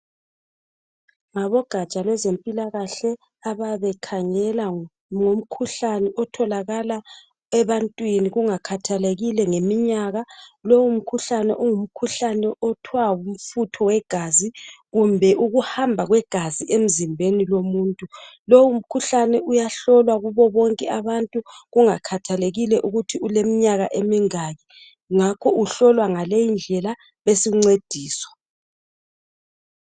Ngabogatsha lwezempilakahle abayabe bekhangela ngomkhuhlane otholakala ebantwini kungakhathelekile ngeminyaka lowu mkhuhlane ngumkhuhlane okuthwa ngmfutho wegazi kumbe ukuhamba kwegazi emzimbeni womuntu lowu mkhuhlane uyahlolwa kubo bonke abantu kungakhathelekile ukuthi uleminyaka emingaki ngakho uhlolwa ngaleyi indlela besuncediswa